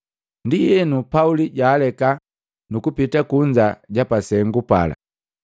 Ndienu, Pauli jaaleka, nuku pita kunza ja pasengu pala.